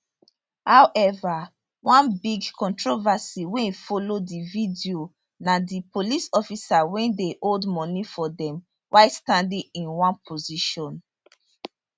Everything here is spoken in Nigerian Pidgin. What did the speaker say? however one big controversy wey follow di video na di police officer wey dey hold money for dem while standing in one position